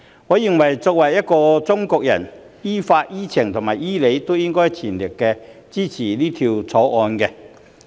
我認為作為一個中國人，於法、於情、於理均應全力支持《條例草案》。